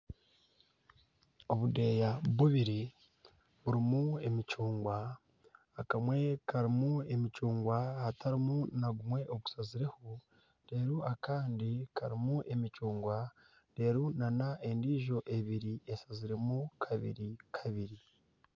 Obudeeya bubiri burimu emicungwa. Akamwe karimu emicungwa hatarimu na gumwe ogushazireho. Reero akandi karimu emicungwa reero n'endiijo ebiri eshazirwemu kabiri kabiri.